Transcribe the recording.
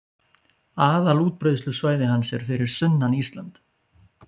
Aðalútbreiðslusvæði hans er fyrir sunnan Ísland